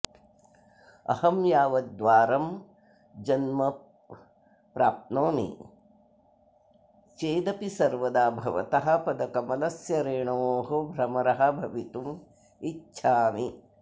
अहं यावद्वारं जन्म प्राप्नोमि चेदपि सर्वदा भवतः पदकमलस्य रेणोः भ्रमरः भवितुम् इच्छामि